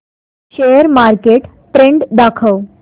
share market trend दाखव